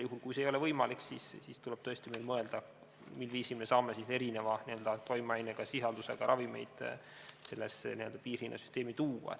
Juhul, kui see ei ole võimalik, siis tuleb meil tõesti mõelda, mil viisil me saame erineva toimeainesisaldusega ravimeid sellesse piirhinnasüsteemi tuua.